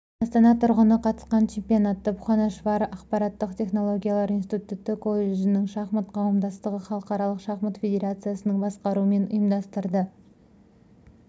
астана тұрғыны қатысқан чемпионатты бхубанешвар ақпараттық технологиялар институты колледжінің шахмат қауымдастығы халықаралық шахмат федерациясының басқаруымен ұйымдастырды